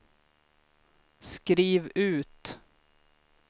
skriv ut